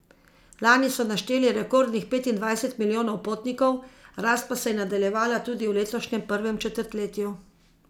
Lani so našteli rekordnih petindvajset milijonov potnikov, rast pa se je nadaljevala tudi v letošnjem prvem četrtletju.